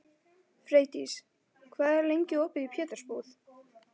Freydís, hvað er lengi opið í Pétursbúð?